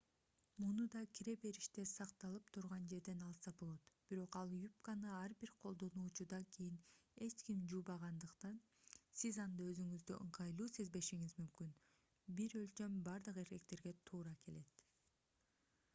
муну да кире бериште сакталып турган жерден алса болот бирок ал юбканы ар бир колдонуучудан кийин эч ким жуубагандыктан сиз анда өзүңүздү ыңгайлуу сезбешиңиз мүмкүн бир өлчөм бардык эркектерге туура келет